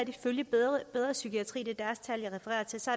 ifølge bedre psykiatri er